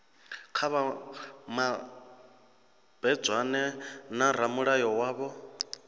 kha vha mabedzane na ramulayo wavho